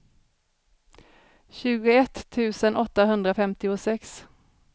tjugoett tusen åttahundrafemtiosex